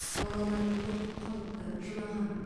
балалар қорқып қалыпты жылаған